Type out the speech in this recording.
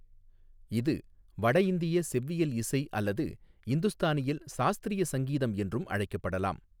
இது வடஇந்திய செவ்வியல் இசை அல்லது இந்துஸ்தானியில் சாஸ்திரிய சங்கீதம் என்றும் அழைக்கப்படலாம்.